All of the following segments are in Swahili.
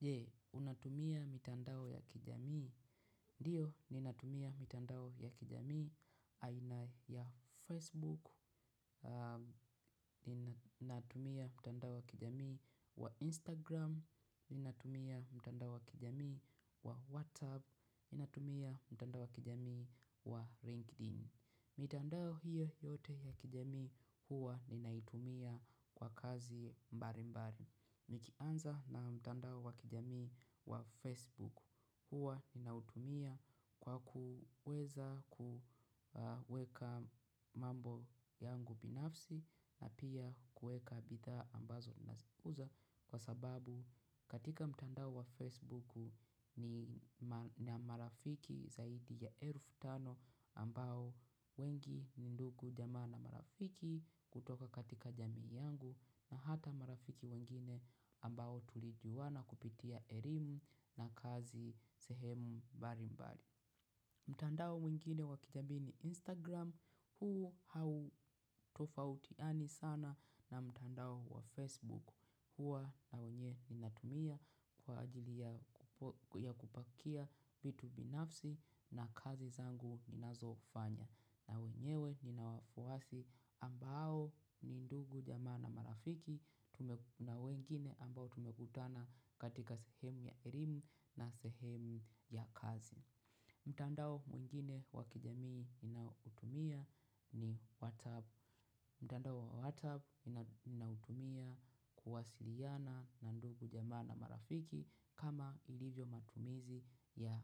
Je, unatumia mitandao ya kijamii. Ndiyo, ninatumia mitandao ya kijamii. Aina ya Facebook, ninatumia mtandao ya kijamii wa Instagram, ninatumia mtandao wa kijamii wa WhatsApp, ninatumia mtandao wa kijamii wa LinkedIn. Mitandao hiyo yote ya kijamii huwa ninaitumia kwa kazi mbali mbali i nikianza na mtandao wa kijamii wa Facebook huwa ninautumia kwa kuweza kuweka mambo yangu binafsi na pia kueka bidhaaa ambazo nazikuza kwa sababu katika mtandao wa Facebook nina marafiki zaidi ya elfu tano ambao wengi ni ndugu jamaa na marafiki kutoka katika jamii yangu na hata marafiki wengine ambao tulijuana kupitia elimu na kazi sehemu mbali mbali. Mtandao mwingine wa kijamii ni Instagram huu hautofautiani sana na mtandao wa Facebook huwa na wenye ninatumia kwa ajili ya kupakia vitu binafsi na kazi zangu ninazo fanya. Na wenyewe nina wafuasi ambao ni ndugu jamaa na marafiki na wengine ambao tumekutana katika sehemu ya elimu na sehemu ya kazi. Mtandao mwingine wa kijamii ninaoutumia ni WhatsApp. Mtandao wa WhatsApp ninautumia kuwasiliana na ndugu jamaa na marafiki kama ilivyo matumizi ya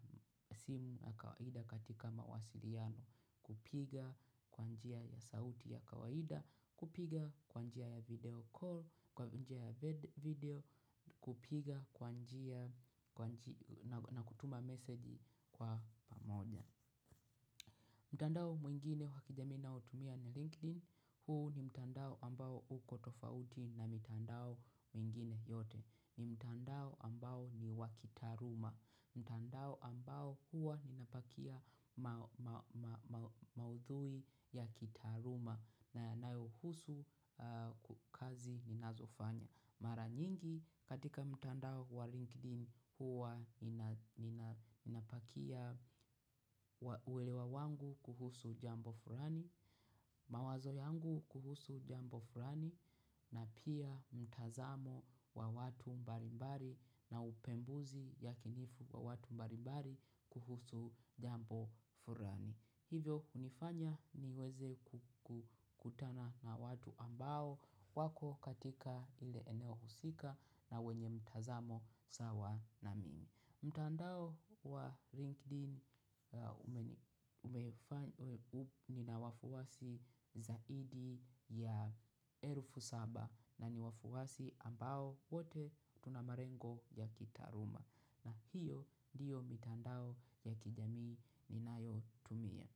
simu ya kawaida katika mawasiliano. Kupiga kwa njia ya sauti ya kawaida, kupiga kwa njia ya video call, kwa njia ya video, kupiga kwa njia na kutuma meseji kwa pamoja. Mtandao mwingine wa kijamii naotumia ni LinkedIn, huu ni mtandao ambao uko tofauti na mitandao mingine yote, ni mtandao ambao ni wa kitaaluma, mtandao ambao huwa ninapakia maudhui ya kitaaluma na yanayohusu kazi ninazofanya. Mara nyingi katika mtandao wa LinkedIn huwa ninapakia uwelewa wangu kuhusu jambo fulani, mawazo yangu kuhusu jambo fulani na pia mtazamo wa watu mbali mbali na upembuzi yakinifu wa watu mbali mbali kuhusu jambo fulani. Hivyo hunifanya niweze kukutana na watu ambao wako katika ile eneo husika na wenye mtazamo sawa na mimi. Mtandao wa LinkedIn umeni nina wafuasi zaidi ya elfu saba na ni wafuasi ambao wote tuna malengo ya kitaaluma na hiyo ndiyo mitandao ya kijamii ninayotumia.